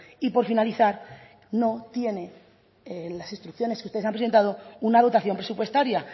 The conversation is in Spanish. y por finalizar no tiene las instrucciones que usted ha presentado una dotación presupuestaria